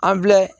An bɛ